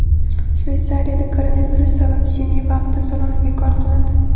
Shveysariyada koronavirus sabab Jeneva avtosaloni bekor qilindi.